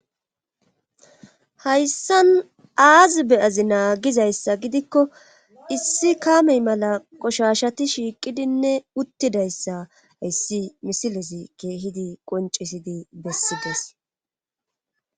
hayssan aazi beyazi naagizayssa gidikko issi kamey mala qoshashati shiiqidinne uttidayssa ayssi misilesi keehidi qoncisidi bessides